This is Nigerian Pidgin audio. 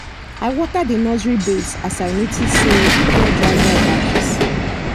i water the nursery beds as i notice say e get dry dry patches